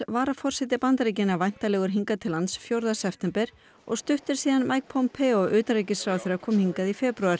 varaforseti Bandaríkjanna er væntanlegur hingað til lands fjórða september og stutt er síðan Mike Pompeo utanríkisráðherra kom hingað í febrúar